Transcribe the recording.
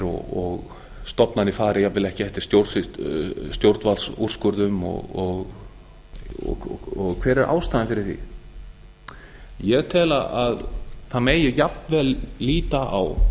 og stofnanir fari jafnvel ekki eftir stjórnvaldsúrskurði og hver er ástæðan fyrir því ég tel að það megi jafnvel líta á